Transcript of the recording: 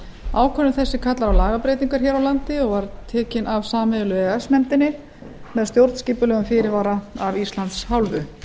ákvörðun þessi kallar á lagabreytingar hér á landi og er tekin af sameiginlegu e e s nefndinni með stjórnskipulegum fyrirvara af íslands hálfu